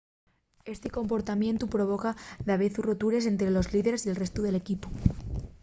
esti comportamientu provoca davezu rotures ente los líderes y el restu del equipu